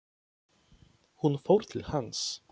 Hún fór til hans.